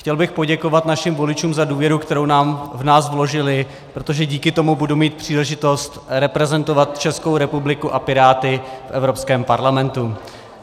Chtěl bych poděkovat našim voličům za důvěru, kterou v nás vložili, protože díky tomu budu mít příležitost reprezentovat Českou republiku a Piráty v Evropském parlamentu.